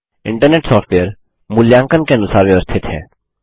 internet software मूल्यांकन के अनुसार व्यवस्थित है